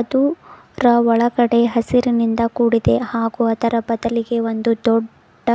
ಅದು ಅದರ ಒಳಗಡೆ ಹಸಿರಿನಿಂದ ಕೂಡಿದೆ ಹಾಗೂ ಅದರ ಬದಲಿಗೆ ಒಂದು ದೊಡ್ಡ